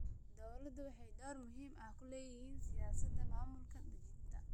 Dawladuhu waxay door muhiim ah ku lahaayeen siyaasadda maamul-daadejinta.